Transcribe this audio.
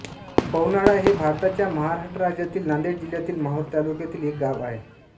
पवनाळा हे भारताच्या महाराष्ट्र राज्यातील नांदेड जिल्ह्यातील माहूर तालुक्यातील एक गाव आहे